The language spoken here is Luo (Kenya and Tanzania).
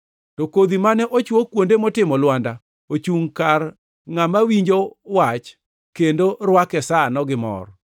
To kodhi mane ochwo kuonde motimo lwanda ochungʼ kar ngʼama winjo wach kendo rwake sano gi mor.